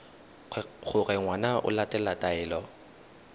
gore ngwana o latela taelo